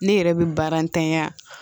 Ne yɛrɛ bɛ baara ntanya